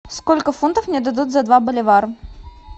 сколько фунтов мне дадут за два боливара